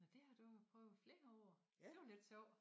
Det har du prøvet i flere år det var lidt sjovt